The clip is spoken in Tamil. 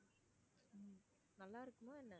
உம் நல்லா இருக்குமா என்ன?